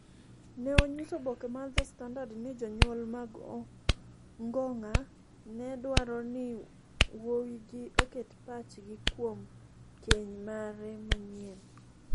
ne onyiso oboke mar The Standard ni jonyuol mag Ongong�a ne dwaro ni wuowigi oket pachgi kuom keny mare manyien.